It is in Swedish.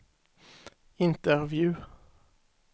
intervju